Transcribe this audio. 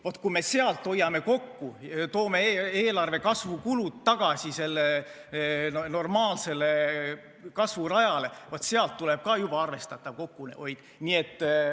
Vaat kui me sealt hoiame kokku, toome eelarve kasvu kulud tagasi normaalsele kasvurajale, siis sealt tuleb ka juba arvestatav kokkuhoid.